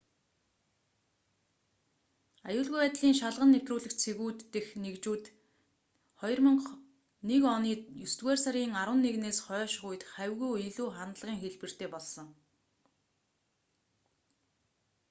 аюулгүй байдлын шалган нэвтрүүлэх цэгүүд дэх нэгжлэгүүд нь 2001 оны есдүгээр сарын 11-ээс хойшх үед хавьгүй илүү халдлагын хэлбэртэй болсон